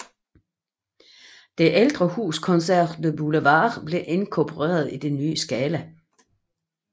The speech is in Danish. Det ældre hus Concert du Boulevard blev inkorporeret i det nye Scala